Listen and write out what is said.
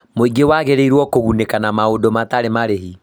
mũingĩ wagĩrĩĩrũo kũgunĩka na maũndũ matarĩ marĩhi